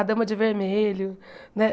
A Dama de Vermelho né.